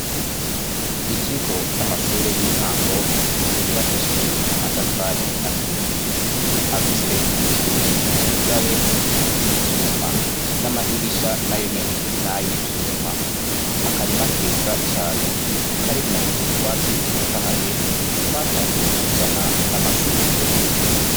ikigo cy'amashure y'intango yubakishijwe amatafari aturiye afise inzuga ye z'ivyuma n'amadirisha na yonyene na y'ivyuma akarimakeza cyane karimwo utwatsi dutotahaye twatanguye kuzana n'amashugwe